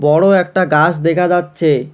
বড় একটা গাছ দেখা যাচ্ছে।